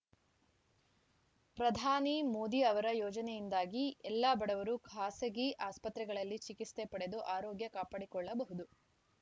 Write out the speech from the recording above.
ಪ್ರಧಾನಿ ಮೋದಿ ಅವರ ಯೋಜನೆಯಿಂದಾಗಿ ಎಲ್ಲ ಬಡವರು ಖಾಸಗಿ ಆಸ್ಪತ್ರೆಗಳಲ್ಲಿ ಚಿಕಿತ್ಸೆ ಪಡೆದು ಆರೋಗ್ಯ ಕಾಪಾಡಿಕೊಳ್ಳಬಹುದು